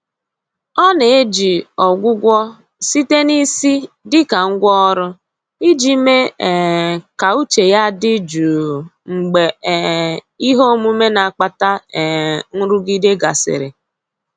Ọ na-eji Ọgwụgwọ site na isi dịka ngwá ọrụ, iji mee um ka uche ya dị jụụ mgbe um ihe omume na-akpata um nrụgide gasịrị.